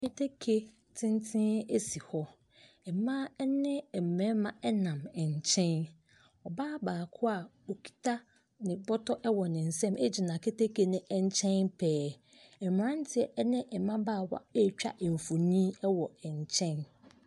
Keteke tenten esi hɔ, mmaaa ɛne ɛmɛɛma ɛnam ɛnkyɛn. Ɔbaa baako a ɔkita ne bɔtɔ ɛwɔ ne nsam egyina keteke ne ɛnkyɛn pɛɛ. Ɛmmeranteɛ ɛne ɛmabaawa eetwa mfonin ɛwɔ ɛnkyɛn.